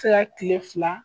Sega kile fila